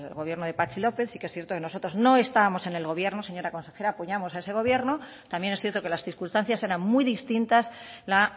gobierno de patxi lópez sí que es cierto que nosotros no estábamos en el gobierno señora consejera apoyamos a ese gobierno también es cierto que las circunstancias eran muy distintas a la